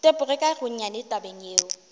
tepoge ka gonnyane tabeng yeo